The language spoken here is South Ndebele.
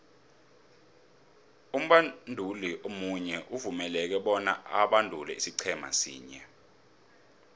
umbanduli munye uvumeleke bona abandule isiqhema sinye